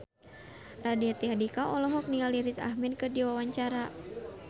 Raditya Dika olohok ningali Riz Ahmed keur diwawancara